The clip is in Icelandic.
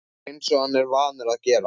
Eins og hann er vanur að gera.